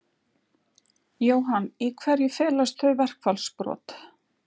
Jóhann: Í hverju felast þau verkfallsbrot?